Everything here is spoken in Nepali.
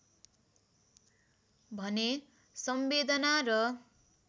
भने संवेदना र